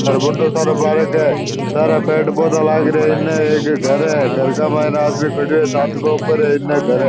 अरे बढ़ो सारो पार्क हैं सारे पेड़ पौधा लाग रिया है इनने एक घर है घर के मायने आदमी खड़यो है छत के ऊपर इनने घर है।